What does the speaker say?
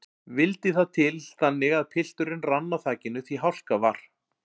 Vildi það til þannig að pilturinn rann á þakinu því hálka var.